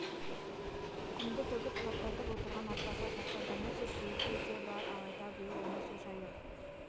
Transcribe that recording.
құмды төгіп таптатып отырған атбасар жақта бірнеше шлюзі де бар алайда биыл оны су шайып